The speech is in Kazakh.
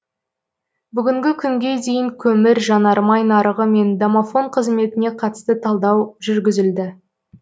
бүгінгі күнге дейін көмір жанармай нарығы мен домафон қызметіне қатысты талдау жүргізілді